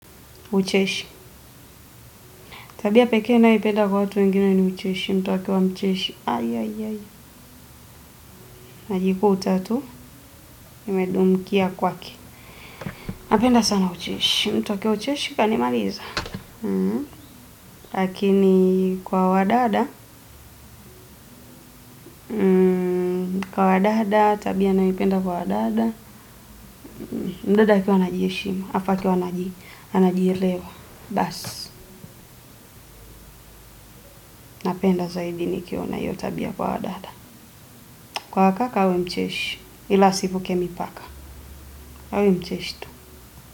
Ucheshi. Tabia pekee ninayoipenda kwa watu wengine ni ucheshi. Mtu akiwa mcheshi. Najikuta tu. Nimedumkia kwake. Napenda sana ucheshi mtu akiwa ucheshi kanimaliza lakini kwa wadada. Kwa wadada. Tabia ninayoipenda kwa wadada. Mdada akiwa anajiheshima. Afa akiwa anajielewa. Basi. Napenda zaidi nikiona hiyo tabia kwa wadada. Kwa wakaka awe mcheshi. Ila asivuke mipaka. Awe mcheshi tu.